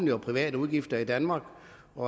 nogle justeringer